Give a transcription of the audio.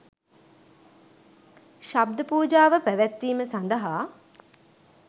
ශබ්ද පූජාව පැවැත්වීම සඳහා